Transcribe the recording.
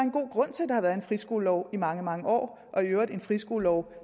har været en friskolelov i mange mange år og i øvrigt en friskolelov